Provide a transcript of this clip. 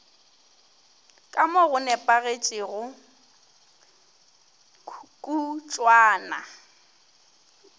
ka mo go nepagetšego kutšwana